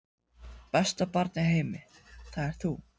Besta barn í heimi, það ert þú.